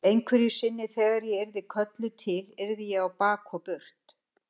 Einhverju sinni þegar ég yrði kölluð til yrði ég á bak og burt.